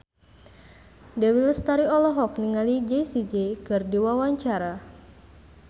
Dewi Lestari olohok ningali Jessie J keur diwawancara